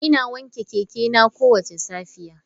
Ina wanke keke na kowace safiya.